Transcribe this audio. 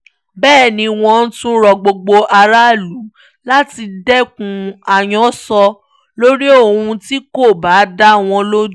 bẹ́ẹ̀ ni wọ́n tún rọ gbogbo aráàlú láti dẹkùn ayọ̀ǹsọ̀ lórí ohun tí kò bá dá wọn lójú